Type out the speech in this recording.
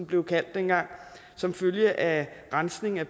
blev kaldt dengang som følge af rensning af